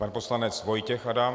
Pan poslanec Vojtěch Adam.